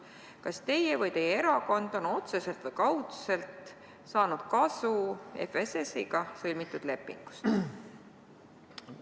Kas teie või teie erakond on otseselt või kaudselt saanud kasu FSS-ga sõlmitud lepingust?